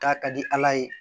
K'a ka di ala ye